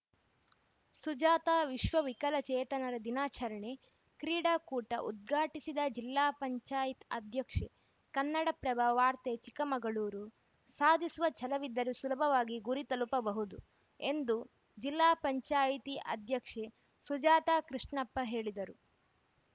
ಸುಜಾತಾ ವಿಶ್ವ ವಿಕಲಚೇತನರ ದಿನಾಚರಣೆ ಕ್ರೀಡಾಕೂಟ ಉದ್ಘಾಟಿಸಿದ ಜಿಲ್ಲಾ ಪಂಚಾಯಿತ್ ಅಧ್ಯಕ್ಷೆ ಕನ್ನಡಪ್ರಭ ವಾರ್ತೆ ಚಿಕ್ಕಮಗಳೂರು ಸಾಧಿಸುವ ಛಲವಿದ್ದರೆ ಸುಲಭವಾಗಿ ಗುರಿ ತಲುಪಬಹುದು ಎಂದು ಜಿಲ್ಲಾ ಪಂಚಾಯಿತಿ ಅಧ್ಯಕ್ಷೆ ಸುಜಾತ ಕೃಷ್ಣಪ್ಪ ಹೇಳಿದರು